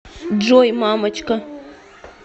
джой мамочка